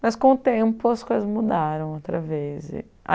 Mas com o tempo as coisas mudaram outra vez.